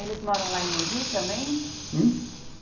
Eles moram lá em Mogi também? Hum?